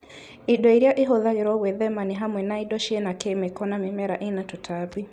Indo iria ĩhũthagĩrwo gwĩthema nĩ hamwe na indo ciĩna kĩmĩko na mĩmera ĩna tũtambi